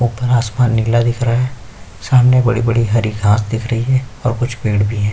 ऊपर आसमान नीला दिख रहा है और हरी हरी घास दिख रही है और कुछ पेड़ भी हैं।